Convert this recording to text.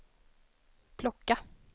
plocka